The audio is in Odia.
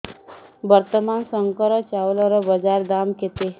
ବର୍ତ୍ତମାନ ଶଙ୍କର ଚାଉଳର ବଜାର ଦାମ୍ କେତେ